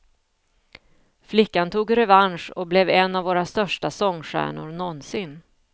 Flickan tog revansch och blev en av våra största sångstjärnor någonsin.